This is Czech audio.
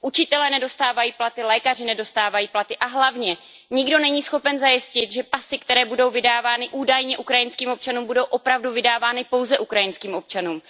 Učitelé nedostávají platy, lékaři nedostávají platy a hlavně nikdo není schopen zajistit, že pasy, které budou vydávány údajně ukrajinským občanům, budou opravdu vydávány pouze ukrajinským občanům.